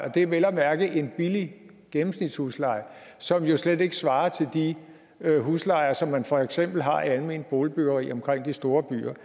og det er vel at mærke en billig gennemsnitshusleje som jo slet ikke svarer til de huslejer som man for eksempel har almene boligbyggerier omkring de store byer